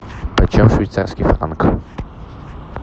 почем швейцарский франк